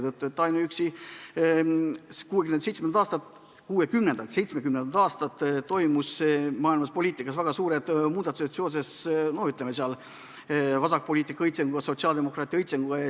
1960–1970ndatel leidsid maailmapoliitikas aset väga suured muudatused seoses vasakpoliitika õitsenguga, sotsiaaldemokraatia õitsenguga.